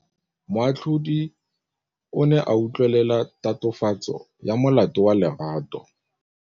Moatlhodi o ne a utlwelela tatofatsô ya molato wa Lerato.